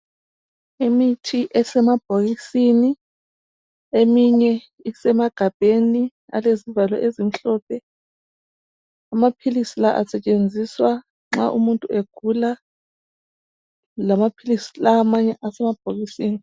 Imithi esemabhokisini eminye isemagabheni alezivalo ezimhlophe. Amaphilisi la asetshenziswa nxa umuntu egula lama philisi la amanye asemabhokisini.